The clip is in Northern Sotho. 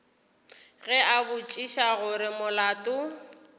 ge a botšiša gore molato